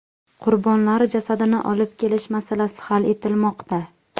Qurbonlar jasadini olib kelish masalasi hal etilmoqda.